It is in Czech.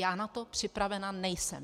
Já na to připravena nejsem.